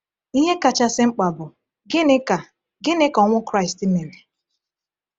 Ihe kachasị mkpa bụ: gịnị ka gịnị ka ọnwụ Kraịst mere?